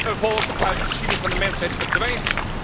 zeker een volk uit de geschiedenis van de mensheid verdwijnt?